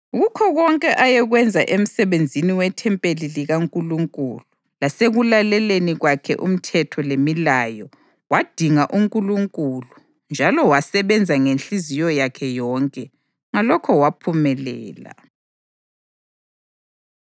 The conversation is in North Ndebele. Kukho konke ayekwenza emsebenzini wethempeli likaNkulunkulu lasekulaleleni kwakhe umthetho lemilayo, wadinga uNkulunkulu njalo wasebenza ngenhliziyo yakhe yonke. Ngalokho waphumelela.